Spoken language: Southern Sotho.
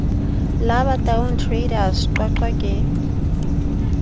la bataung traders qwaqwa ke